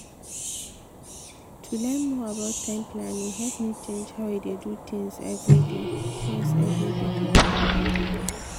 to learn more about time planning help me change how i dey do things every day. things every day.